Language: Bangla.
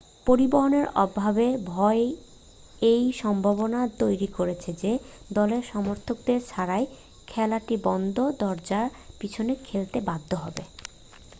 পরিবহনের অভাবের ভয় এই সম্ভাবনা তৈরি করেছে যে দলের সমর্থকদের ছাড়াই খেলাটি বন্ধ দরজার পিছনে খেলতে বাধ্য হবে